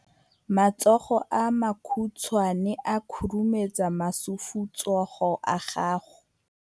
matsogo a makhutshwane a khurumetsa masufutsogo a gago